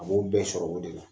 A b'o bɛɛ sɔrɔ o de la